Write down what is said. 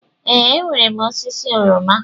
Ee, enwere m osisi oroma.